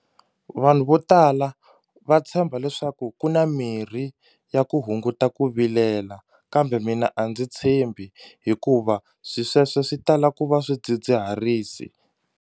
Vanhu vo tala va tshemba leswaku ku na mirhi ya ku hunguta ku vilela kambe mina a ndzi tshembi hikuva swi sweswo swi tala ku va swidzidziharisi.